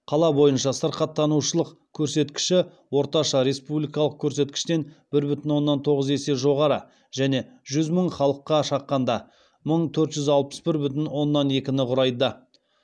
қала бойынша сырқаттанушылық көрсеткіші орташа республикалық көрсеткіштен бір бүтін оннан тоғыз есе жоғары және жүз мың халыққа шаққанда мың төрт жүз алпыс бір бүтін оннан екіні құрайды